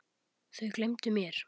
Þau gleymdu mér.